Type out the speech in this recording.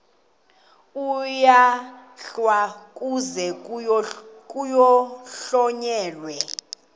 uyalahlwa kuze kuhlonyelwe